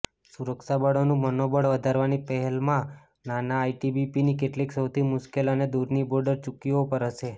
સુરક્ષાબળોનું મનોબળ વધારવાની પહેલમાં નાના આઇટીબીપીની કેટલીક સૌથી મુશ્કેલ અને દૂરની બોર્ડર ચોકીઓ પર જશે